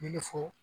Min fɔ